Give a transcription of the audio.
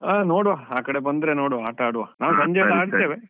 ಆ ನೋಡುವ ಆಕಡೆ ಬಂದ್ರೆ ನೋಡುವ ಆಟ ಆಡುವ ನಾವು ಸಂಜೆಸ ಆಡ್ತೇವೆ.